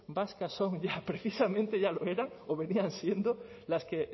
vascas son ya precisamente ya lo eran o venían siendo las que